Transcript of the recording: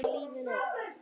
Franskt salat